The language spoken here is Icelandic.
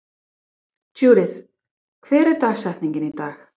Judith, hver er dagsetningin í dag?